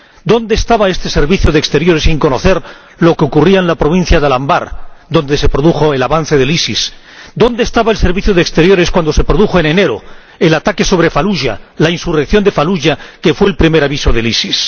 ¿Dónde estaba este servicio, que no sabía lo que ocurría en la provincia de Al Anbar, donde se produjo el avance del EIIL? ¿Dónde estaba el Servicio Europeo de Acción Exterior cuando se produjo en enero el ataque sobre Faluya, la insurrección de Faluya, que fue el primer aviso del EIIL?